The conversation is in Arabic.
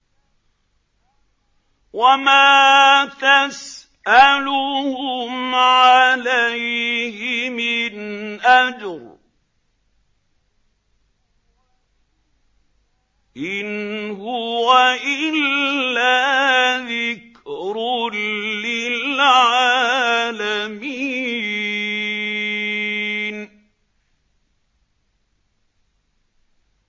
وَمَا تَسْأَلُهُمْ عَلَيْهِ مِنْ أَجْرٍ ۚ إِنْ هُوَ إِلَّا ذِكْرٌ لِّلْعَالَمِينَ